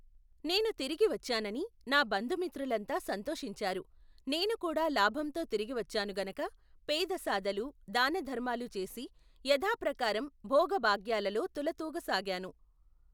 నేను తిరిగివచ్చానని నా బంధుమిత్రులంతా సంతోషించారు నేను కూడా లాభంతో తిరిగివచ్చాను గనక పేదసాదలు దాన ధర్మాలు చేసి యధాప్రకారం భోగభగ్యాలలో తులతూగ సాగాను.